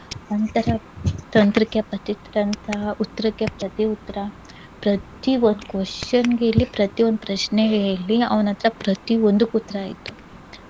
ಅಂತಹ ತಂತ್ರಿಕ್ಕೆ ಪ್ರತಿ ತಂತ್ರ, ಉತ್ರಕ್ಕೆ ಪ್ರತಿಯುತ್ರ, ಪ್ರತಿಯೊಂದ್ question ಗೆ ಇಲ್ಲಿ ಪ್ರತಿಯೊಂದ್ ಪ್ರಶ್ನೆಗೆ ಇಲ್ಲಿ ಅವ್ನತ್ರ ಪ್ರತಿಯೊಂದಕ್ಕೂ ಉತ್ತ್ರ ಇತ್ತು.